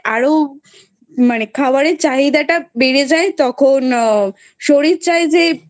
আরো মানে খাবারের চাহিদাটা বেড়ে যায় তখন আ শরীর চায় যে